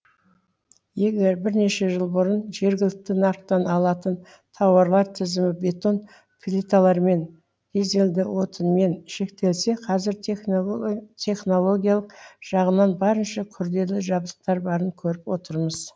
егер бірнеше жыл бұрын жергілікті нарықтан алатын тауарлар тізімі бетон плиталармен дизельді отынмен шектелсе қазір технологиялық жағынан барынша күрделі жабдықтар барын көріп отырмыз